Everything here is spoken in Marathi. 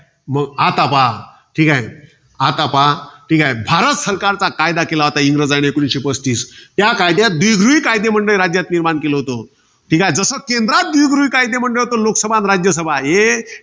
मग आता पहा. ठीकाय. आता पहा. ठीके. भारत सरकारचा कायदा केला होता इंग्रजाने. एकोणीसशे पस्तीस. त्याकाळात द्विगृही कायदेमंडळ राज्यात निर्माण केलं होतं. जसं, केंद्रात द्विगृही कायदेमंडळ होतं. लोकसभा अन राज्यसभा. हे